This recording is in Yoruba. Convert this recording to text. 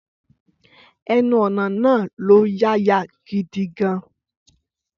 Ẹnu-ọ̀nà náà lọ́yàyà gidi gan-an.